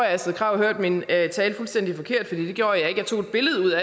astrid krag hørte min tale fuldstændig forkert fordi det gjorde jeg tog et billede